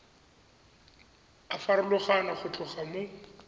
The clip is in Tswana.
a farologana go tloga mo